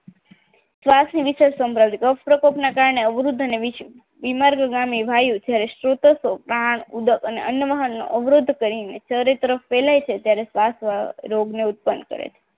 શ્વાસ ની વિશેષ અપ્રોગ રોગ ને કારણે રોગને ઉત્પન્ન કરે છે કફ દ્વારા સ્ત્રોતોમાં આ વાયુ ના માર્ગોમાં અવરોધ થવાથી ચરિતા શ્વાસ રોગની ઉત્પત્તિ થાય છે